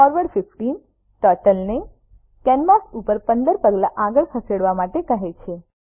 forward 15 turtle ને canvas ઉપર 15 પગલા આગળ ખસવા માટે કહે છે